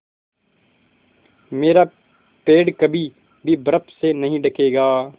मेरा पेड़ कभी भी बर्फ़ से नहीं ढकेगा